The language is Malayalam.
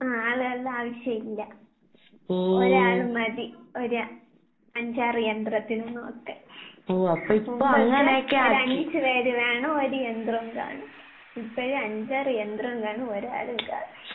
ആഹ് ആളുകൾടെ ആവശ്യം ഇല്ല. ഒരാള് മതി ഒര് അഞ്ചാറ് യന്ത്രത്തിനെ നോക്കാൻ. എന്ന് വെച്ചാൽ ഒരഞ്ച് പേര് വേണം ഒരു യന്ത്രോം കാണും. ഇപ്പഴ് അഞ്ചാറ് യന്ത്രോം കാണും ഒരാളും കാണാം.